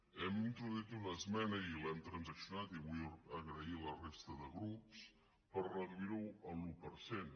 hem introduït una esmena i l’hem transaccionada i vull donar les gràcies a la resta de grups per reduir ho a l’un per cent